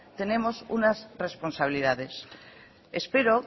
tenemos unas responsabilidades espero